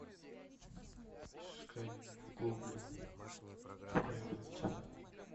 искать в гугле период